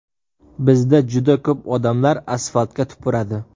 Bizda juda ko‘p odamlar asfaltga tupuradi.